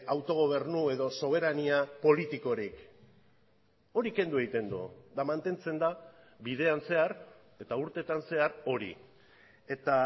autogobernu edo soberania politikorik hori kendu egiten du eta mantentzen da bidean zehar eta urteetan zehar hori eta